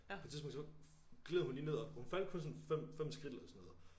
På et tidspunkt så gled hun lige ned og hun faldt kun sådan 5 5 skridt eller sådan noget